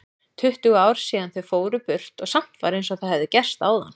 Tuttugu ár síðan þau fóru burt og samt var einsog það hefði gerst áðan.